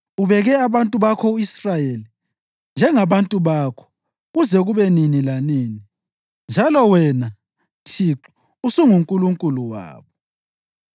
Ubeke abantu bakho u-Israyeli njengabantu bakho kuze kube nini lanini, njalo wena, Thixo, usunguNkulunkulu wabo.